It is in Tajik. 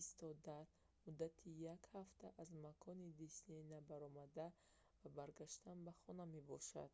истодар муддати як ҳафта аз макони дисней набаромада ва баргаштан ба хона мебошад